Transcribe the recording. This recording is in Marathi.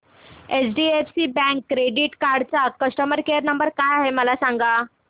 एचडीएफसी बँक क्रेडीट कार्ड चा कस्टमर केयर नंबर काय आहे मला सांगा